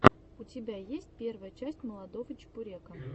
у тебя есть первая часть молодого чебурека